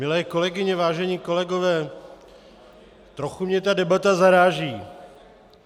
Milé kolegyně, vážení kolegové, trochu mě ta debata zaráží.